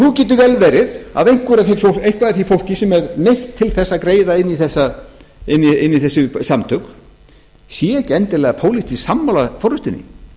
nú getur vel verið að eitthvað af því fólki sem er neytt til þess að gerð inn í þessi samtök séu ekki endilega pólitískt sammála forustunni